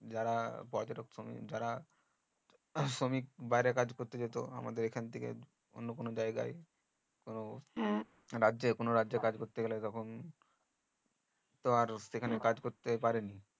যারা যারা শ্রমিক বাইরে কাজ করতে যেত আমাদের এখন থেকে অন্য কোনো জায়গায় কোনো কোনো রাজ্যে কাজ করতে গেলে তখন তো আর সেখানে কাজ করতে পারিনি